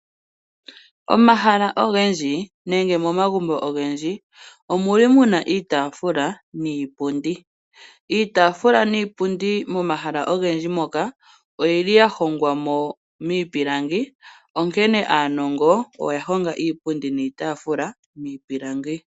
Momahala ogendji nenge momagumbo ogendji omuli muna iitafula niipundi. Iitafula niipundi momahala ogendji oyili ya hongwa miipilangi, onkee aanongo oya honga iipundi niitafula miipilangi